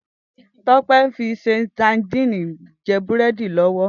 Tope n fi ṣé sádìn jè búrèdí lòwò